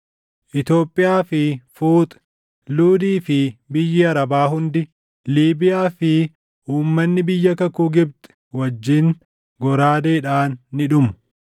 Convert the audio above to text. Itoophiyaa fi Fuuxi, Luudii fi biyyi Arabaa hundi, Liibiyaa fi uummanni biyya kakuu Gibxi wajjin goraadeedhaan ni dhumu.